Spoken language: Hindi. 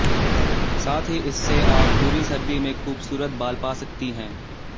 साथ ही इससे आप पूरी सर्दी में खूबसूरत बाल पा सकती हैं